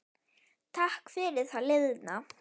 Takk fyrir það liðna.